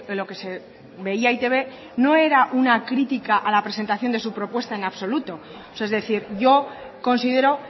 lo que se veía e i te be no era una crítica a la presentación de su propuesta en absoluto es decir yo considero